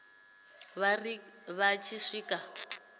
vha ri vha tshi swika